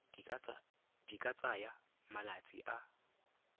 di ka tsaya malatsi a